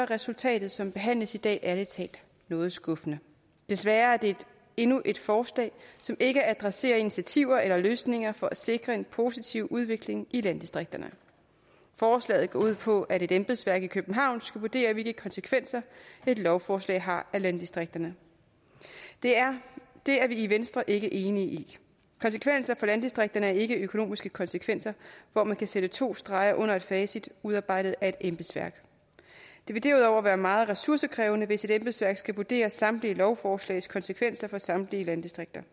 resultatet som behandles i dag ærlig talt noget skuffende desværre er det endnu et forslag som ikke adresserer initiativer eller løsninger for at sikre en positiv udvikling i landdistrikterne forslaget går ud på at et embedsværk i københavn skal vurdere hvilke konsekvenser et lovforslag har i landdistrikterne det er det er vi i venstre ikke enige i konsekvenser for landdistrikterne er ikke økonomiske konsekvenser hvor man kan sætte to streger under et facit udarbejdet af et embedsværk det vil derudover være meget ressourcekrævende hvis et embedsværk skal vurdere samtlige lovforslags konsekvenser for samtlige landdistrikter